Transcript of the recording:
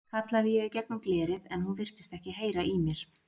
kallaði ég í gegnum glerið en hún virtist ekki heyra í mér.